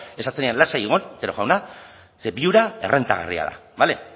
esan zenidan lasai egon otero jauna ze viura errentagarria da bale